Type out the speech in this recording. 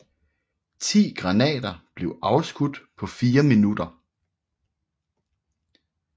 Ti granater blev afskudt på fire minutter